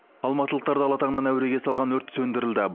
алматылықтарды ала таңнан әуреге салған өрт сөндірілді